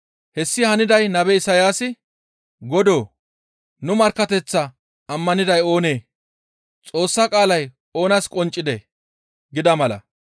Hessi haniday nabe Isayaasi, «Godoo! Nu markkateththaa ammaniday oonee? Xoossa qaalay oonas qonccidee?» gida mala.